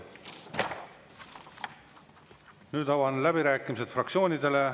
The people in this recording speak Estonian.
Nüüd avan läbirääkimised fraktsioonidele.